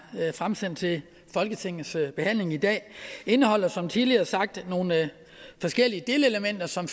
fremsendt til folketingets behandling i dag indeholder som tidligere sagt nogle forskellige delelementer som